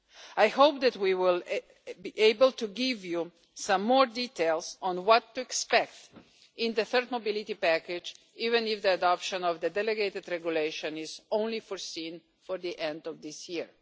I hope that we will be able to give you some more details on what to expect in the third mobility package, even if the adoption of the delegated regulation is only foreseen for the end of this year.